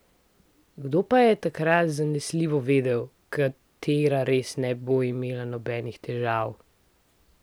Kdo pa je takrat zanesljivo vedel, katera res ne bo imela nobenih težav?